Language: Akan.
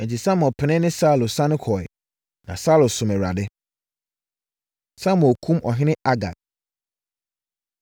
Enti, Samuel pene ne Saulo sane kɔeɛ, na Saulo somm Awurade. Samuel Kum Ɔhene Agag